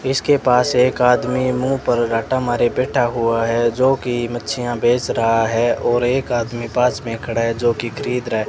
इसके पास एक आदमी मुंह पर राटा मारे बैठा हुआ है जोकि मच्छियां बेच रहा है और एक आदमी पास में खड़ा है जोकि खरीद रहा --